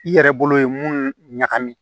I yɛrɛ bolo ye mun ɲagami